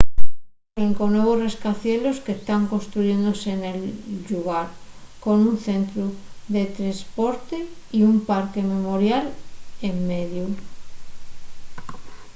hai cinco nuevos rascacielos que tán construyéndose nel llugar con un centru de tresporte y un parque memorial en mediu